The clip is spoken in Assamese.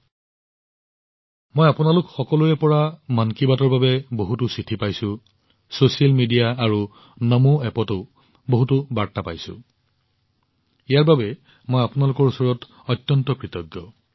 মন কী বাতৰ বাবে মই আপোনালোক সকলোৰে পৰা বহুতো চিঠি লাভ কৰিছো ছচিয়েল মিডিয়া আৰু নমো এপত বহুতো বাৰ্তা পাইছো ইয়াৰ বাবে মই আপোনালোকৰ ওচৰত অত্যন্ত কৃতজ্ঞ